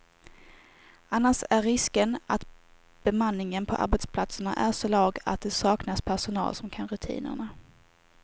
Annars är risken att bemanningen på arbetsplatserna är så låg att det saknas personal som kan rutinerna.